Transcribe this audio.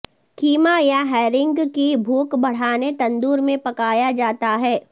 کیما یا ہیرنگ کی بھوک بڑھانے تندور میں پکایا جاتا ہے